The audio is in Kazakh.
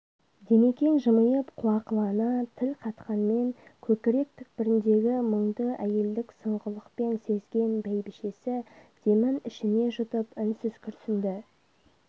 димекең жымиып қуақылана тіл қатқанмен көкірек түкпіріндегі мұңды әйелдік сұңғылықпен сезген бәйбшесі демін ішіне жұтып үнсіз күрсінді